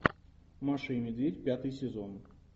маша и медведь пятый сезон